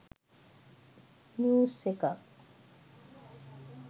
news එකක්